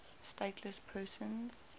stateless persons